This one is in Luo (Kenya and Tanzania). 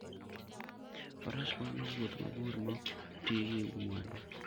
Faras konyo e wuoth mabor maok ti gi mwandu.